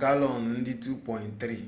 galọn nde 2.3